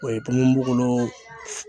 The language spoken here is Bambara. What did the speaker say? O ye ponponpogolon